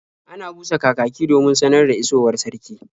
Ana busa kakaki domin sanar da isowar sarki.